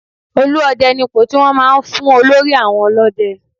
Olú Ọdẹ ni ipò tí wọ́n máa ń fún olórí àwọn ọlọ́dẹ.